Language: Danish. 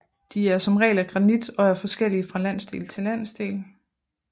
De er som regel af granit og er forskellige fra landsdel til landsdel